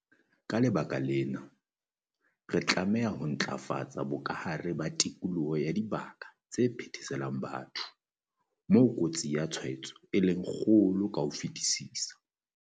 Ka lebaka lena, re tlameha ho ntlafatsa bokahare ba tikoloho ya dibaka tse phetheselang batho, moo kotsi ya tshwaetso e leng kgolo ka ho fetisisa.